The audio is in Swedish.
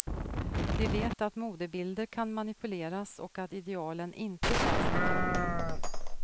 De vet att modebilder kan manipuleras och att idealen inte känns naturliga.